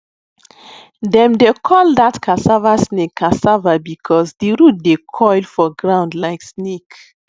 dem dey call that cassava snake cassava because the root dey coil for ground like snake